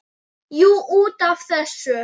Jú, út af þessu.